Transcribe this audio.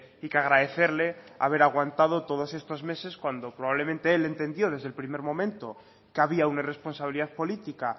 y que agradecerle haber aguantado todos estos meses cuando probablemente él entendió desde el primer momento que había una responsabilidad política